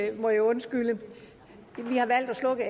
det må i undskylde vi har valgt at slukke